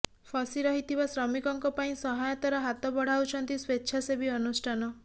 ଫସି ରହିଥିବା ଶ୍ରମିକଙ୍କ ପାଇଁ ସହାୟତାର ହାତ ବଢ଼ାଉଛନ୍ତି ସ୍ୱେଚ୍ଛାସେବୀ ଅନୁଷ୍ଠାନ